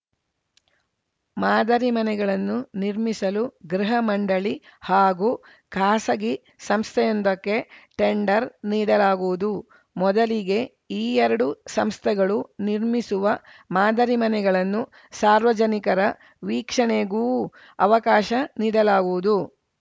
ಮಾದರಿ ಮನೆಗಳನ್ನು ನಿರ್ಮಿಸಲು ಗೃಹ ಮಂಡಳಿ ಹಾಗೂ ಖಾಸಗಿ ಸಂಸ್ಥೆಯೊಂದಕ್ಕೆ ಟೆಂಡರ್‌ ನೀಡಲಾಗುವುದು ಮೊದಲಿಗೆ ಈ ಎರಡು ಸಂಸ್ಥೆಗಳು ನಿರ್ಮಿಸುವ ಮಾದರಿ ಮನೆಗಳನ್ನು ಸಾರ್ವಜನಿಕರ ವೀಕ್ಷಣೆಗೂ ಅವಕಾಶ ನೀಡಲಾಗುವುದು